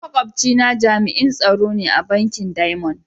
Makwabci na jami'in tsaro ne a bankin "diamond".